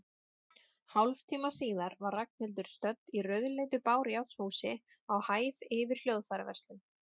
Hálftíma síðar var Ragnhildur stödd í rauðleitu bárujárnshúsi, á hæð yfir hljóðfæraverslun.